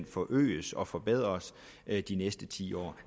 forøges og forbedres de næste ti år